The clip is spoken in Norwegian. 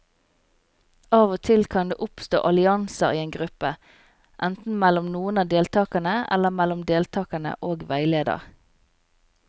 Av og til kan det oppstå allianser i en gruppe, enten mellom noen av deltakerne eller mellom deltakere og veileder.